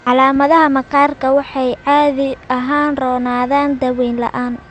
Calaamadaha maqaarku waxay caadi ahaan roonaadaan daaweyn la'aan.